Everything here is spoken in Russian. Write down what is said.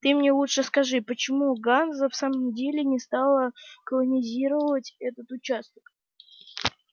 ты мне лучше скажи почему ганза в самом деле не стала колонизировать этот участок